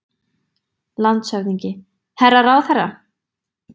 LANDSHÖFÐINGI: Herra ráðherra!